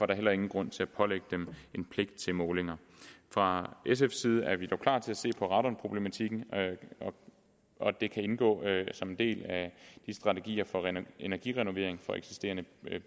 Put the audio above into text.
der heller ingen grund til at pålægge dem en pligt til målinger fra sfs side er vi dog klar til at se på radonproblematikken og og det kan indgå som en del af de strategier for energirenovering for eksisterende